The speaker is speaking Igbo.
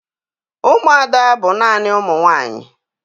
Ụmụada bụ naanị ụmụ nwaanyị